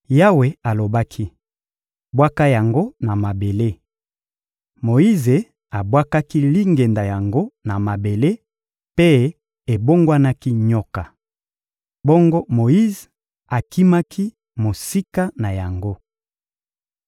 Yawe alobaki: — Bwaka yango na mabele. Moyize abwakaki lingenda yango na mabele mpe ebongwanaki nyoka. Bongo Moyize akimaki mosika na yango.